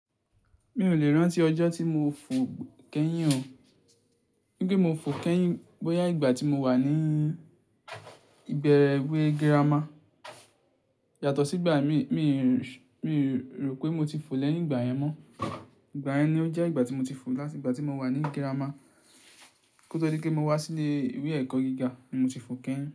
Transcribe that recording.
Mi ò lè rántí ọjọ́ tí mo fò kẹ́yìn o. Nipe mo fò kẹ́yìn bọ́yá ìgbà tí mo wà ní ìgba iwé girama. Yàtọ̀ sígbà mí, míi rò pé mo ti fò lẹ́yìn ìgbà yẹn mọ. Ìgbà yẹn ni ó jẹ́ ìgbà tí mo ti fò láti ìgbà tí mo wà ní girama. Kótó di pe wá sí ilé ìwé ẹ̀kọ́ gíga ni mo ti fò kẹ́yìn.